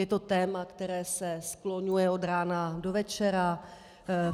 Je to téma, které se skloňuje od rána do večera.